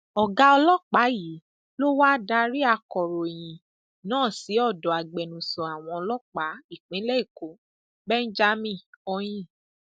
ọgá ọlọpàá yìí ló wáá darí akọròyìn náà sí ọdọ agbẹnusọ àwọn ọlọpàá ìpínlẹ èkó benjamin hondyin